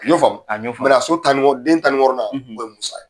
Y'o faamu a n y'o faamu so den tan ni wɔɔrɔnan o bɛ